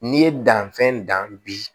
N'i ye danfɛn dan bi